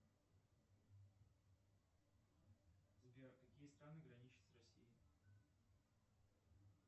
сбер какие страны граничат с россией